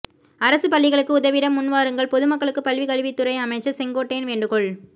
அரசு பள்ளிகளுக்கு உதவிட முன்வாருங்கள் பொதுமக்களுக்கு பள்ளி கல்வித்துறை அமைச்சர் செங்கோட்டையன் வேண்டுகோள்